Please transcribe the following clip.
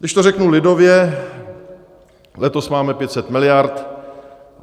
Když to řeknu lidově, letos máme 500 miliard.